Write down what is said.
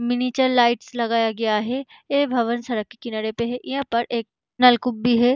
Miniature lights लगाया गया है ये भवन सड़क के किनारे पे है यहाँ पर एक नलकूप भी है।